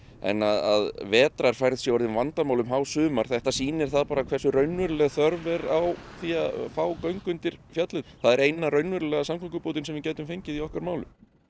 en að vetrarfærð sé orðin vandamál um hásumar þetta sýnir það hversu raunveruleg þörf er á því að fá göng undir fjallið það er eina raunverulega samgöngubótin sem við gætum fengið í okkar málum